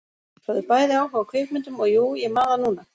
Höfðu bæði áhuga á kvikmyndum og- jú, ég man það núna